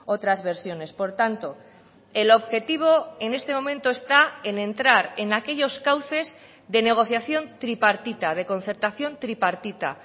otras versiones por tanto el objetivo en este momento está en entrar en aquellos cauces de negociación tripartita de concertación tripartita